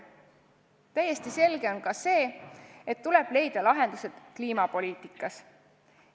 Täiesti selge on ka see, et tuleb leida lahendused kliimapoliitikas.